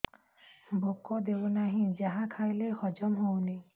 ଭୋକ ହେଉନାହିଁ ଯାହା ଖାଇଲେ ହଜମ ହଉନି